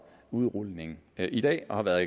udrulning i dag og har været